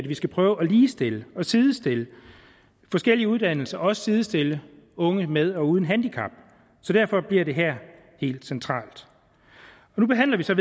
vi skal prøve at ligestille og sidestille forskellige uddannelser også sidestille unge med og uden handicap så derfor bliver det her helt centralt nu behandler vi så